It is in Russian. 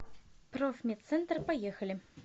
профмедцентр поехали